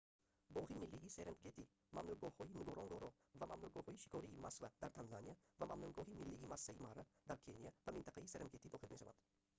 боғи миллии серенгети мамнӯъгоҳҳои нгоронгоро ва мамнӯъгоҳи шикории масва дар танзания ва мамнӯъгоҳи миллии масаи мара дар кения ба минтақаи серенгети дохил мешаванд